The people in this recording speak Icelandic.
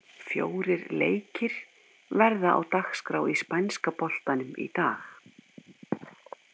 Fjórir leikir verða á dagskrá í spænska boltanum í dag.